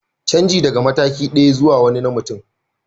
Canji daga mataki ɗaya zuwa wani na mutum